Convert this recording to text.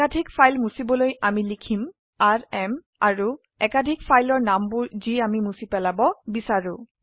একাধিক ফাইল মুছিবলৈ আমি লিখম আৰএম আৰু একাধিক ফাইলৰ নামবোৰ যি আমি মুছি পেলাব বিচাৰো